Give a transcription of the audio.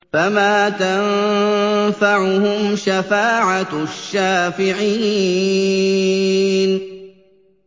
فَمَا تَنفَعُهُمْ شَفَاعَةُ الشَّافِعِينَ